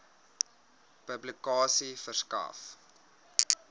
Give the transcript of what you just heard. publikasie verskaf